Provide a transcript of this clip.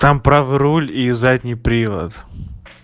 там правый руль и задний привод